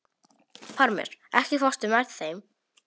Parmes, ekki fórstu með þeim?